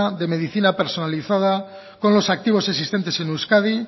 de medicina personalizada con los activos existentes en euskadi